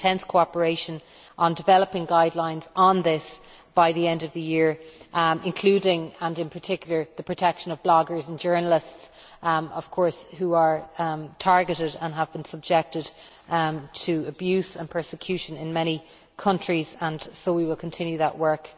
There is intense cooperation on developing guidelines on this by the end of the year, including in particular the protection of bloggers and journalists, who are of course targeted and have been subjected to abuse and persecution in many countries, and so we will continue that work.